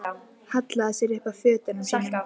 Hallaði sér upp að fötunum sínum.